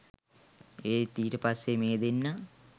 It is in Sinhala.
ඒත් ඊට පස්සේ මේ දෙන්නා